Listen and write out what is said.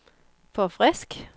forfrisk